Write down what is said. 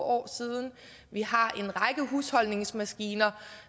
år siden vi har en række husholdningsmaskiner